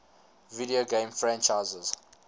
video game franchises